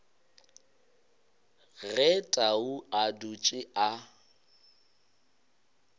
ge tau a dutše a